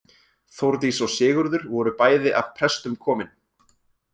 Þórdís og Sigurður voru bæði af prestum komin.